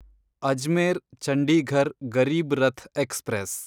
Ajmer Chandigarh Garib Rath express